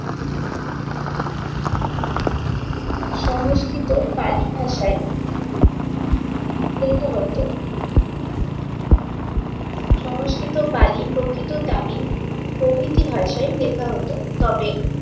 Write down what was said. সংস্কৃত পালি ভাষায় লেখা হতো। সংস্কৃত পালি, প্রকৃত তামিল প্রভৃতি ভাষায় লেখা হতো। তবে